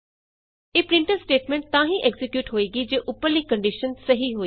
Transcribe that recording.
ਇਹ printf statement ਤਾਂ ਹੀ ਐਕਜ਼ੀਕਿਯੂਟ ਹੋਏਗੀ ਜੇ ਉਪਰਲੀ ਕੰਡੀਸ਼ਨ ਸਹੀ ਹੋਈ